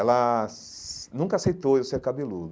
Ela nunca aceitou eu ser cabeludo.